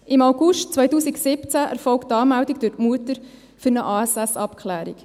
Im August 2017 erfolgt die Anmeldung durch die Mutter für eine ASS-Abklärung.